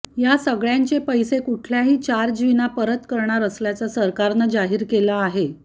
या सगळ्यांचे पैसे कुठल्याही चार्जविना परत करणार असल्याचं सरकारनं जाहीर केलं आहे